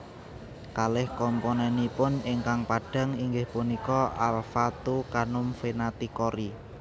Kalih komponenipun ingkang padhang ingih punika alpha two Canum Venaticori